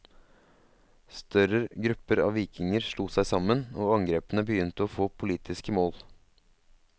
Større grupper av vikinger slo seg sammen, og angrepene begynte å få politiske mål.